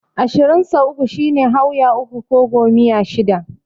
Ashirin sau uku shine Hauya uku ko Gomiya shida.